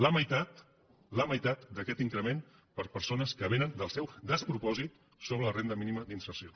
la meitat la meitat d’aquest increment per a persones que vénen del seu despropòsit sobre la renda mínima d’inserció